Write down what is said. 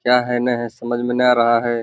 क्या है न है समझ में न आ रहा है।